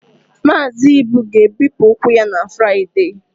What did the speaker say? Mazị Ibu ga-ebipụ ụkwụ ya na Fraịde